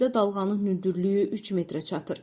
Dənizdə dalğanın hündürlüyü 3 metrə çatır.